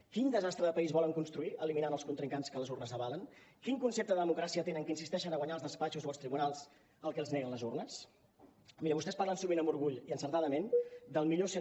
quin desastre de país volen construir eliminant els contrincants que les urnes avalen quin concepte de democràcia tenen que insisteixen a guanyar als despatxos o als tribunals el que els nega les urnes miri vostès parlen sovint amb orgull i encertadament del mil cent